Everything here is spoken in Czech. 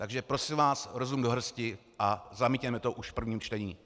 Takže prosím vás, rozum do hrsti a zamítněme to už v prvním čtení.